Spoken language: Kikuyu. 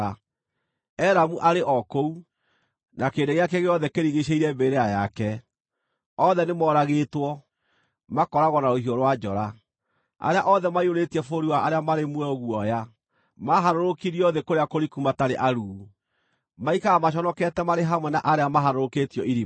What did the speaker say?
“Elamu arĩ o kũu, na kĩrĩndĩ gĩake gĩothe kĩrigiicĩirie mbĩrĩra yake. Othe nĩmoragĩtwo, makooragwo na rũhiũ rwa njora. Arĩa othe maiyũrĩtie bũrũri wa arĩa marĩ muoyo guoya maaharũrũkirio thĩ kũrĩa kũriku matarĩ aruu. Maikaraga maconokete marĩ hamwe na arĩa maharũrũkĩtio irima.